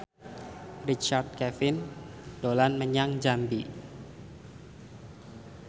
Richard Kevin dolan menyang Jambi